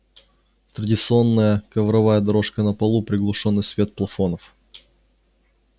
традиционная ковровая дорожка на полу приглушённый свет плафонов